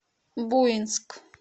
буинск